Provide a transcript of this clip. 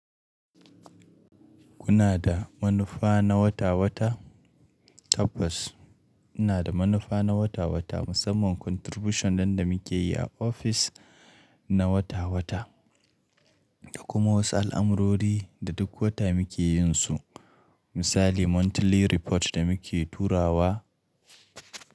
Kuna da manufa na wata-wata? Tabbas, ina da manufa na wata-wata, musamman contribution nan da muke yi a ofis na wata-wata da kuma wasu al'amurori da duk wata muke yin su. Misali monthly report da muke turawa.